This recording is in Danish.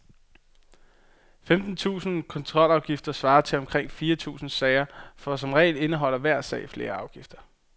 Femten tusinde kontrolafgifter svarer til omkring fire tusinde sager, for som regel indeholder hver sag flere afgifter.